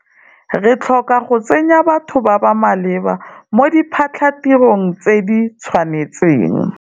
Re tlhoka go tsenya batho ba ba maleba mo diphatlhatirong tse di tshwanetseng.